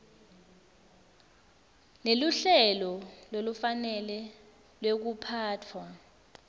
neluhlelo lolufanele lwekuphatfwa